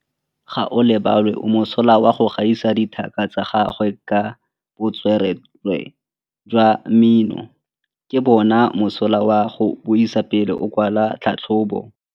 Gaolebalwe o mosola go gaisa dithaka tsa gagwe ka botswerere jwa mmino. Ke bone mosola wa go buisa pele o kwala tlhatlhobô.